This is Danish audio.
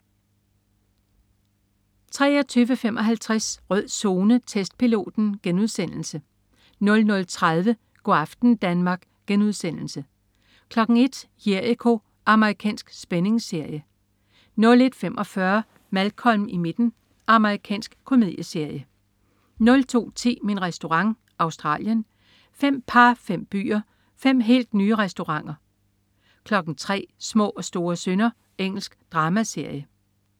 23.55 Rød Zone: Testpiloten* 00.30 Go' aften Danmark* 01.00 Jericho.* Amerikansk spændingsserie 01.45 Malcolm i midten. Amerikansk komedieserie 02.10 Min Restaurant. Australien. Fem par, fem byer, fem helt nye restauranter 03.00 Små og store synder. Engelsk dramaserie